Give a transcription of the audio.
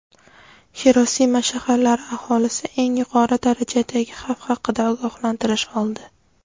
Xirosima shaharlari aholisi eng yuqori darajadagi xavf haqida ogohlantirish oldi.